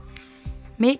mikið